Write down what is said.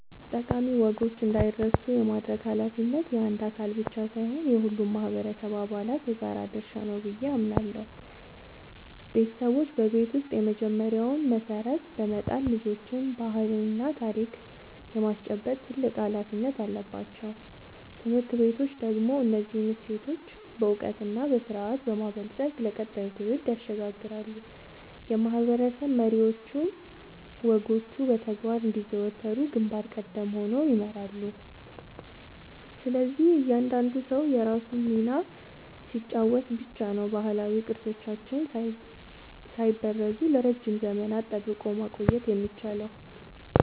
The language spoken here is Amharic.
ጠቃሚ ወጎች እንዳይረሱ የማድረግ ኃላፊነት የአንድ አካል ብቻ ሳይሆን የሁሉም ማህበረሰብ አባላት የጋራ ድርሻ ነው ብዬ አምናለሁ። ቤተሰቦች በቤት ውስጥ የመጀመሪያውን መሰረት በመጣል ልጆችን ባህልና ታሪክ የማስጨበጥ ትልቅ ኃላፊነት አለባቸው። ትምህርት ቤቶች ደግሞ እነዚህን እሴቶች በዕውቀትና በስርዓት በማበልጸግ ለቀጣዩ ትውልድ ያሸጋግራሉ፤ የማህበረሰብ መሪዎችም ወጎቹ በተግባር እንዲዘወተሩ ግንባር ቀደም ሆነው ይመራሉ። ስለዚህ እያንዳንዱ ሰው የራሱን ሚና ሲጫወት ብቻ ነው ባህላዊ ቅርሶቻችንን ሳይበረዙ ለረጅም ዘመናት ጠብቆ ማቆየት የሚቻለው።